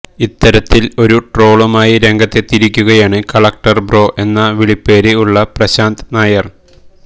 ഇത്തരത്തിൽ ഒരു ട്രോളുമായി രംഗത്തെത്തിയിരിക്കുകയാണ് കളക്ടർ ബ്രോ എന്ന വിളിപ്പേര് ഉള്ള പ്രശാന്ത് നായർ